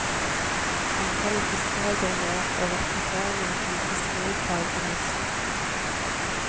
Antallet fiskere går ned og rekrutteringen til fiskerifagene synker.